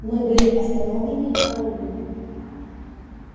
мы были остановлены караульными